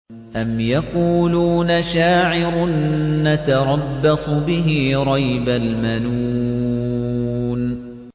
أَمْ يَقُولُونَ شَاعِرٌ نَّتَرَبَّصُ بِهِ رَيْبَ الْمَنُونِ